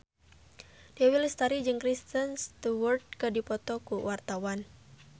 Dewi Lestari jeung Kristen Stewart keur dipoto ku wartawan